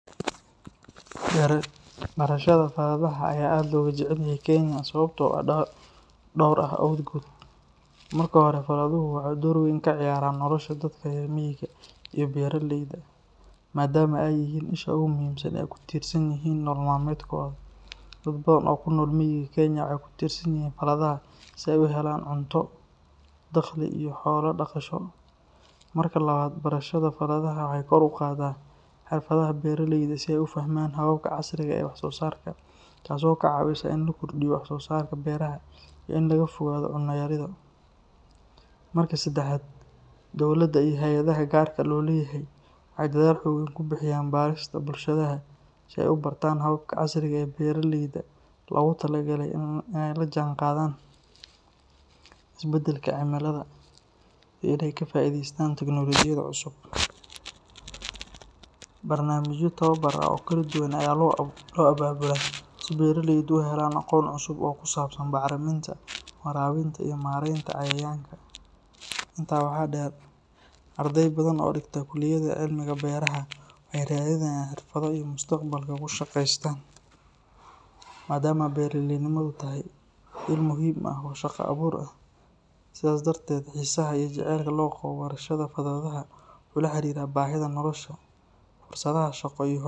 Barashada faladhaha aad ayaa looga jecel yahay Kenya sababo dhowr ah awgood. Marka hore, faladhuhu waxay door weyn ka ciyaaraan nolosha dadka reer miyiga ah iyo beeraleyda, maadaama ay yihiin isha ugu muhiimsan ee ay ku tiirsan yihiin nolol maalmeedkooda. Dad badan oo ku nool miyiga Kenya waxay ku tiirsan yihiin faladhaha si ay u helaan cunto, dakhli iyo xoolo dhaqasho. Marka labaad, barashada faladhaha waxay kor u qaaddaa xirfadaha beeraleyda si ay u fahmaan hababka casriga ah ee wax-soosaarka, taasoo ka caawisa in la kordhiyo wax-soosaarka beeraha iyo in laga fogaado cunno yarida. Marka saddexaad, dowladda iyo hay’adaha gaarka loo leeyahay waxay dadaal xooggan ku bixiyaan barista bulshada si ay u bartaan hababka casriga ah ee beeralayda loogu talagalay in ay la jaanqaadaan isbeddelka cimilada iyo in ay ka faa’iidaystaan tiknoolajiyada cusub. Barnaamijyo tababar ah oo kala duwan ayaa loo abaabulaa si beeraleydu u helaan aqoon cusub oo ku saabsan bacriminta, waraabinta, iyo maaraynta cayayaanka. Intaa waxaa dheer, arday badan oo dhigta kulliyadaha cilmiga beeraha waxay raadinayaan xirfado ay mustaqbalka ku shaqeystaan, maadaama beeraleynimadu tahay il muhiim ah oo shaqo-abuur ah. Sidaas darteed, xiisaha iyo jacaylka loo qabo barashada faladhaha wuxuu la xiriiraa baahida nolosha, fursadaha shaqo iyo.